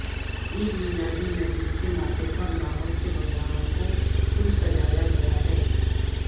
عید میلاد النبی کے موقع پر لاہور کے بازار کو خوب سجایا گیا ہے